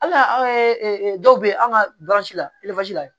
Hali anw ye dɔw be an ka la la